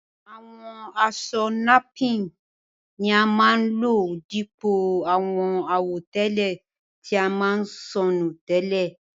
Àwọn aṣọ napín ni a máa ń lò dípò àwọn àwọ̀tẹ́lẹ̀ tí a máa ń sọ nù tẹ́lẹ̀.